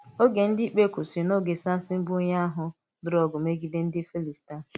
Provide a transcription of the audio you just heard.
Ògé Ndí Íkpé kwụsịrị̀ n’ógè Sámṣìn, bụ́ onye um lụrụ̀ ọgụ́ megíde ndí Fílístíà.